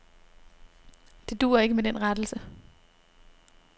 Det duer ikke med den rettelse.